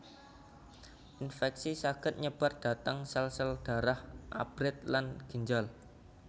Inféksi saged nyebar dhateng sél sél dharah abrit lan ginjal